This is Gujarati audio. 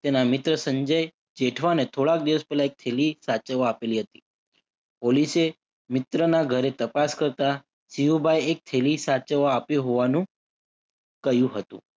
તેના મિત્ર સંજય જેઠવાને થોડાક દિવસ પહેલા એક થેલી સાચવવા આપેલી હતી. પોલીસે મિત્રના ઘરે તપાસ કરતા સિંહુબાએ એક થેલી સાચવવા આપ્યો હોવાનું કહ્યું હતું.